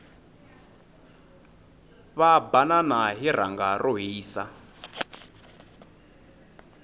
va banana hi rhanga ro hisa